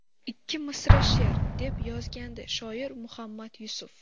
Ikki misra she’r...”, deb yozgandi shoir Muhammad Yusuf.